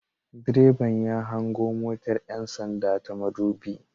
Direban ya hango motar 'yan sanda ta madubi